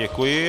Děkuji.